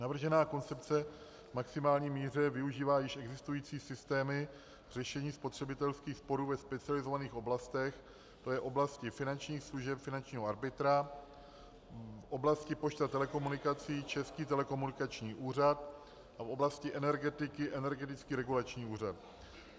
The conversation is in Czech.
Navržená koncepce v maximální míře využívá již existující systémy řešení spotřebitelských sporů ve specializovaných oblastech, tj. oblasti finančních služeb finančního arbitra, v oblasti pošt a telekomunikací Český telekomunikační úřad a v oblasti energetiky Energetický regulační úřad.